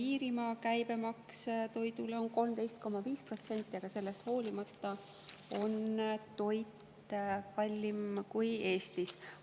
Iirimaa käibemaks toidule on 13,5%, aga sellest hoolimata on seal toit kallim kui Eestis.